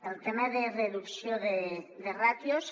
el tema de reducció de ràtios